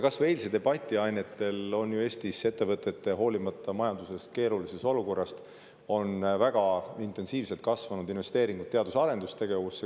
Kas või eilse debati ainetel võib öelda, et Eestis on ettevõtetel, hoolimata majanduse keerulisest olukorrast, väga intensiivselt kasvanud investeeringud teadus‑ ja arendustegevusse.